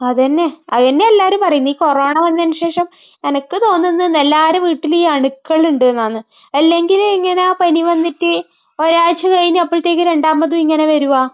അത് തന്നെ. അത് തന്നെയാ എല്ലാവരും പറയുന്നേ. ഈ കൊറോണ വന്നതിന് ശേഷം എനിക്ക് തോന്നുന്നുണ്ട് എല്ലാവരുടെ വീട്ടിലും ഈ അണുക്കൾ ഇണ്ടെന്നാണ്. അല്ലെങ്കിൽ ഇങ്ങനെ പനി വന്നിട്ട് ഒരാഴ്ച കഴിഞ്ഞപ്പോഴത്തേക്കും രണ്ടാമതും ഇങ്ങനെ വരുമോ?